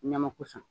Ɲamaku sa